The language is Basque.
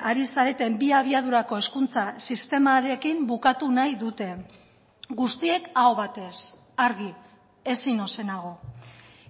ari zareten bi abiadurako hezkuntza sistemarekin bukatu nahi dute guztiek aho batez argi ezin ozenago